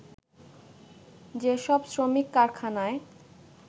যে সব শ্রমিক কারখানায়